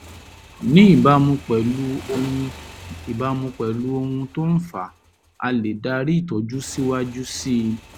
ní ìbámu pẹ̀lú ohun ìbámu pẹ̀lú ohun tó fà á a lè darí ìtọ́jú síwájú síi